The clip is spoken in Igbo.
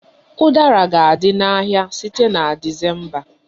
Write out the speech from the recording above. Udara ga-adị n'ahịa site na Disemba